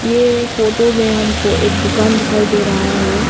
ये फोटो मे हमको एक दुकान दिखाई दे रहा है।